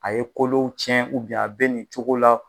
A ye kolow tiɲɛ a bɛɛ nin cogo la.